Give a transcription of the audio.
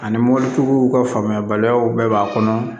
Ani mɔbilitigiw ka faamuyali baliyaw bɛɛ b'a kɔnɔ